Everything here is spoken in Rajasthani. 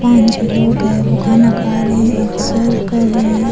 पांच छः लोग है वो खाना खा रे हैं एक सर्व कर रे है।